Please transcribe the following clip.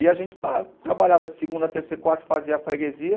E a gente trabalhava de segunda, terceira e quarta, fazia a freguesia.